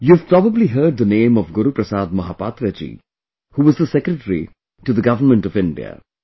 you have probably heard the name of Guru Prasad Mohapatra ji, who was the Secretary to the Government of India